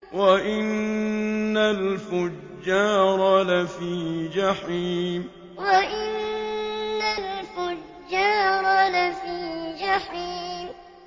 وَإِنَّ الْفُجَّارَ لَفِي جَحِيمٍ وَإِنَّ الْفُجَّارَ لَفِي جَحِيمٍ